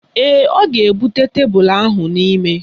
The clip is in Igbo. Ee, ọ ga-ebute tebelu ahụ n'ime.